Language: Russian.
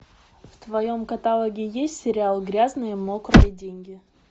в твоем каталоге есть сериал грязные мокрые деньги